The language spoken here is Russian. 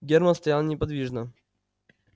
германн стоял неподвижно